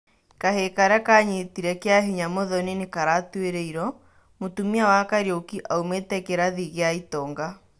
Kahii karia kanyitire kĩa hinya Muthoni nĩkaratũĩrĩirwo, mũtũmia wa Kariuki aũmĩte kĩrathi gĩa itonga